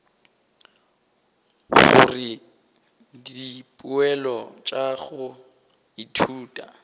gore dipoelo tša go ithuta